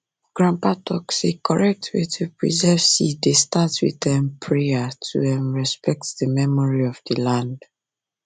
grandpa talk say correct way to preserve seed dey start with um prayer to um respect the memory of the land